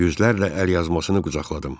Yüzlərlə əlyazmasını qucaqladım.